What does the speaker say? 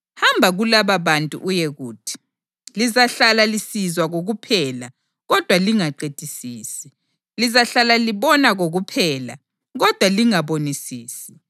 ‘Hamba kulababantu uyekuthi, “Lizahlala lisizwa kokuphela, kodwa lingaqedisisi; lizahlala libona kokuphela kodwa lingabonisisi.”